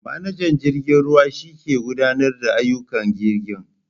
Manajan jirgen ruwa shike gudanarda da ayyukan jirgin.